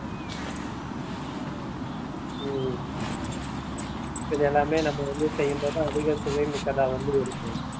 உம் இது எல்லாமே நம்ம வந்து செய்யும்போதுதான் அதிக சுவை மிக்கதா வந்து இருக்கு